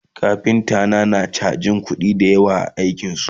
kafinta na yana chajin kuɗi da yawa a aikinsa